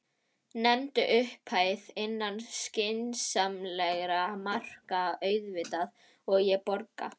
Nefndu upphæð, innan skynsamlegra marka auðvitað, og ég borga.